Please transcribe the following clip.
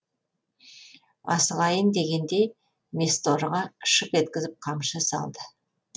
асығайын дегендей месторыға шып еткізіп қамшы салды